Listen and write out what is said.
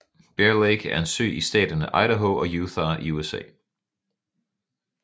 Bear Lake er en sø i staterne Idaho og Utah i USA